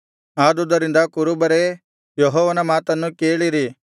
ಆದುದರಿಂದ ಕುರುಬರೇ ಯೆಹೋವನ ಮಾತನ್ನು ಕೇಳಿರಿ